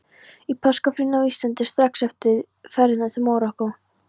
Í páskafríinu á Íslandi, strax eftir ferðina til Marokkó.